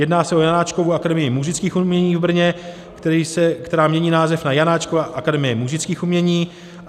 Jedná se o Janáčkovu akademii múzických umění v Brně, která mění název na Janáčkova akademii múzických umění.